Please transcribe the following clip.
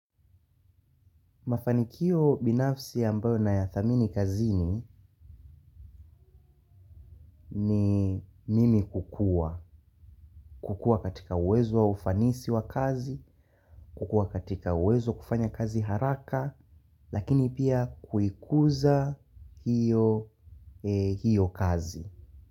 Mafanikio binafsi ambayo nayathamini kazini ni mimi kukua. Kukua katika uwezo wa ufanisi wa kazi, kukua katika uwezo kufanya kazi haraka, lakini pia kuikuza hiyo kazi.